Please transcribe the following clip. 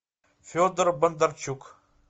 федор бондарчук